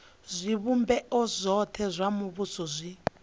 zwivhumbeo zwothe zwa muvhuso zwi